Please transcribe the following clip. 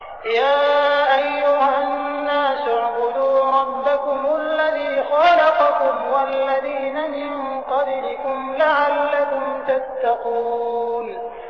يَا أَيُّهَا النَّاسُ اعْبُدُوا رَبَّكُمُ الَّذِي خَلَقَكُمْ وَالَّذِينَ مِن قَبْلِكُمْ لَعَلَّكُمْ تَتَّقُونَ